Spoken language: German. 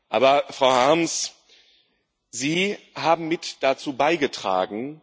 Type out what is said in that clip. Aber, Frau Harms, Sie haben mit dazu beigetragen.